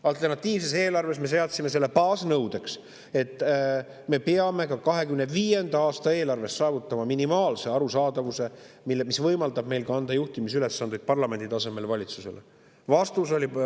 Alternatiivses eelarves me seadsime selle baasnõudeks, et me peame ka 2025. aasta eelarves saavutama minimaalse arusaadavuse, mis võimaldab meil parlamendi tasemel anda valitsusele juhtimisülesandeid.